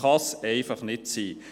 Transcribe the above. Das kann nicht sein.